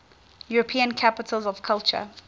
european capitals of culture